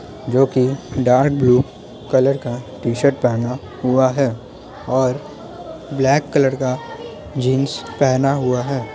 जो की dark blue colour का टी-शर्ट पहना हुआ है और ब्लैक कलर का जीन्स पहना हुआ है।